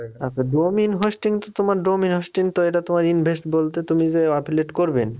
আচ্ছা domain hosting কি তোমার domain hosting তো এটা তোমার invest বলতে তুমি যে করবেন